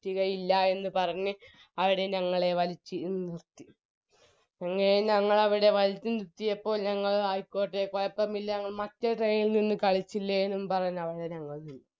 പറ്റുകയില്ലയെന്ന് പറഞ്ഞ് അവര് ഞങ്ങളെ മ് അങ്ങനെ ഞങ്ങളെവിടെ വലിച്ച് ഇരുത്തിയപ്പോൾ ഞങ്ങൾ ആയിക്കോട്ടെ കൊയപ്പമില്ല ഞങ്ങൾ മറ്റേ train ഇൽ നിന്ന് കളിച്ചില്ലെ എന്നും പറഞ്ഞ് അവിടെ ഞങ്ങൾ നിന്നു